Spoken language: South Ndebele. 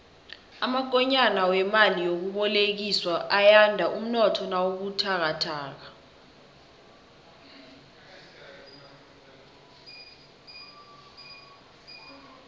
amakonyana wemali yokubolekiswa ayanda umnotho nawubuthakathaka